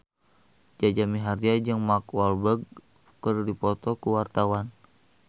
Jaja Mihardja jeung Mark Walberg keur dipoto ku wartawan